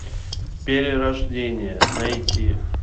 перерождение найти